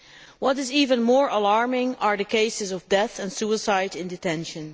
What is even more alarming are the cases of death and suicide in detention.